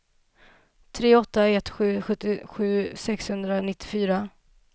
tre åtta ett sju sjuttiosju sexhundranittiofyra